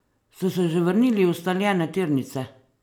Ste se že vrnili v ustaljene tirnice?